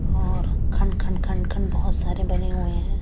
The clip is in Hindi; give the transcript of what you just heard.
और खण्ड खण्ड खण्ड बोहोत सारे बने हुए है ।